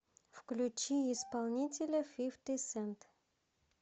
включи исполнителя фифти сэнт